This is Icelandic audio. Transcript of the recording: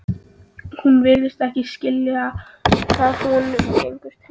En hún virðist ekki skilja hvað honum gengur til.